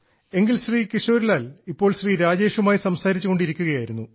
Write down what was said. എങ്കിൽ ശ്രീ കിശോരി ലാൽ ഇപ്പോൾ ശ്രീ രജേഷുമായി സംസാരിച്ചു കൊണ്ടിരിക്കുകയായിരുന്നു